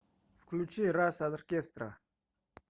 включи рас оркестра